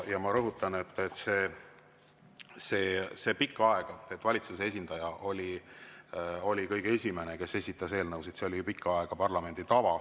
Ja ma rõhutan, et pikka aega oli parlamendi tava see, et valitsuse esindaja oli kõige esimene, kes esitas eelnõusid.